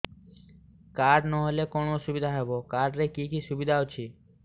card ନହେଲେ କଣ ଅସୁବିଧା ହେବ କାର୍ଡ ରେ କି କି ସୁବିଧା ଅଛି